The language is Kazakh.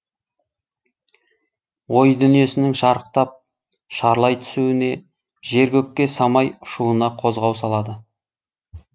ой дүниесінің шарықтап шарлай түсуіне жер көкке самай ұшуына қозғау салады